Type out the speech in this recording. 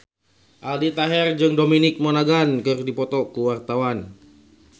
Aldi Taher jeung Dominic Monaghan keur dipoto ku wartawan